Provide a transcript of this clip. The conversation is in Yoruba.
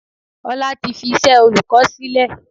Ọlá tí fi iṣẹ́ olùkọ́ sílè.